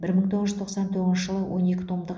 бір мың тоғыз жүз тоқсан тоғызыншы жылы он екі томдық